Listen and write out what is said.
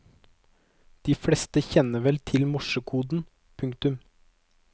De fleste kjenner vel til at morsekoden. punktum